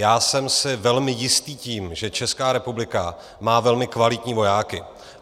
Já jsem si velmi jistý tím, že Česká republika má velmi kvalitní vojáky.